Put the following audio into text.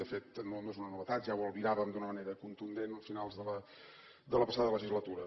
de fet no és una novetat ja ho albiràvem d’una manera contundent a finals de la passada legislatura